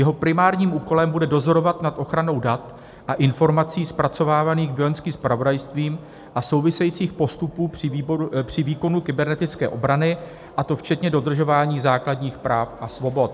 Jeho primárním úkolem bude dozorovat nad ochranou dat a informací zpracovávaných Vojenským zpravodajstvím a souvisejících postupů při výkonu kybernetické obrany, a to včetně dodržování základních práv a svobod.